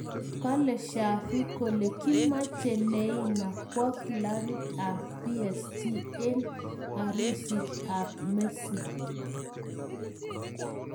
Kalee shavi kole kiimachei neimaa kwa klabit ab psg eng arusit ab messi